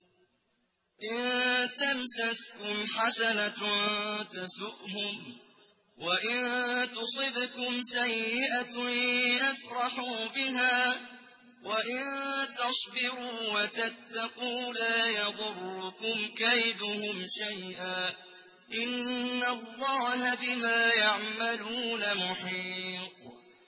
إِن تَمْسَسْكُمْ حَسَنَةٌ تَسُؤْهُمْ وَإِن تُصِبْكُمْ سَيِّئَةٌ يَفْرَحُوا بِهَا ۖ وَإِن تَصْبِرُوا وَتَتَّقُوا لَا يَضُرُّكُمْ كَيْدُهُمْ شَيْئًا ۗ إِنَّ اللَّهَ بِمَا يَعْمَلُونَ مُحِيطٌ